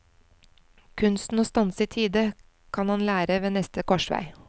Kunsten å stanse i tide kan han lære ved neste korsvei.